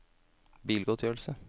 bilgodtgjørelse